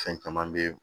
Fɛn caman be ye